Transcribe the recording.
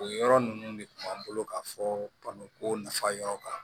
O yɔrɔ ninnu de kun b'an bolo ka fɔ baloko nafa yɔrɔ kan